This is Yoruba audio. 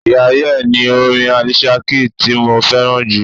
We are here' ni orin Alicia Keys ti mo fẹ́ràn jù.